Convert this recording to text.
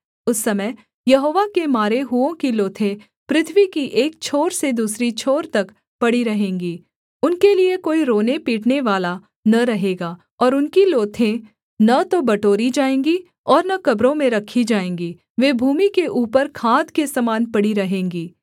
उस समय यहोवा के मारे हुओं की लोथें पृथ्वी की एक छोर से दूसरी छोर तक पड़ी रहेंगी उनके लिये कोई रोनेपीटनेवाला न रहेगा और उनकी लोथें न तो बटोरी जाएँगी और न कब्रों में रखी जाएँगी वे भूमि के ऊपर खाद के समान पड़ी रहेंगी